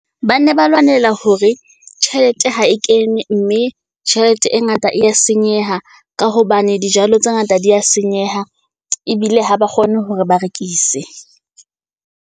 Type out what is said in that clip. Ba ne ba lwanela hore tjhelete ha e kene, mme tjhelete e ngata e ya senyeha. Ka hobane dijalo tse ngata di ya senyeha ebile ha ba kgone hore ba rekise.